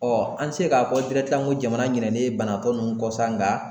an tɛ se k'a fɔ n ko jamana ɲinɛlen banabaatɔ ninnu kɔsa nka